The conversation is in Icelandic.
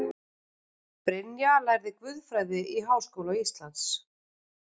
Brynja lærði guðfræði við Háskóla Íslands